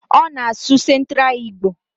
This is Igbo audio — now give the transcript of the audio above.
Ona asu centra Igbo?